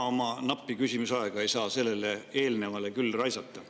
Ma oma nappi küsimise aega sellele eelnevale küll raisata ei saa.